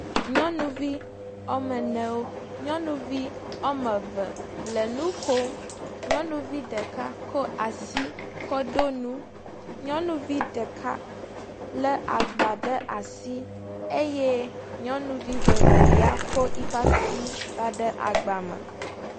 Nyɔnuvi wɔme ne wo. Nyɔnuvi woame eve le nu kom. Nyɔnu ɖeka ko asi kɔ ɖo nu. Nyɔnuvi ɖeka le agba ɖe asi eye nyɔnuvi vevelia ko eƒa asi kɔ da ɖe agba me.